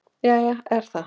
Jæja er það.